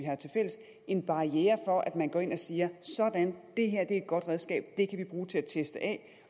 har tilfælles en barriere for at man går ind og siger sådan det her er et godt redskab det kan vi bruge til at teste af